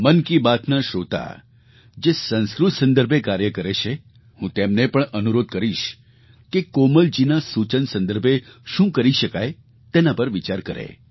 મન કી બાતના શ્રોતા જે સંસ્કૃત સંદર્ભે કાર્ય કરે છે હું તેમને પણ અનુરોધ કરીશ કે કોમલજીના સૂચન સંદર્ભે શું કરી શકાય તેના પર વિચાર કરે